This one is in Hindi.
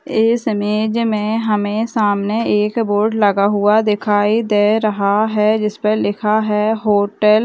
इस इमेज में हमें सामने एक बोर्ड लगा हुआ दिखाई दे रहा है जिसपे लिखा है होटल ।